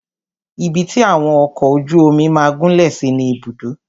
Ibi tí àwọn ọkọ ojú omi máà gúnlẹ̀ sí ni Ibùdó.